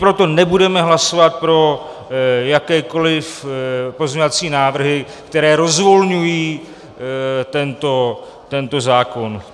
Proto nebudeme hlasovat pro jakékoliv pozměňovací návrhy, které rozvolňují tento zákon.